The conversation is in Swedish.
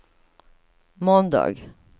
måndag